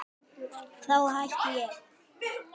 Þá hætti ég!